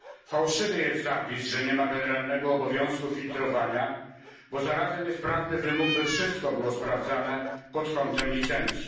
Fałszywy jest zapis, że nie ma generalnego obowiązku filtrowania, bo zarazem jest prawny wymóg, by wszystko było sprawdzane pod kątem licencji.